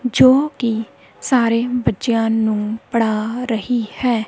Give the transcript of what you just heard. ਜੋ ਕਿ ਸਾਰੇ ਬੱਚਿਆਂ ਨੂੰ ਪੜ੍ਹਾ ਰਹੀ ਹੈ।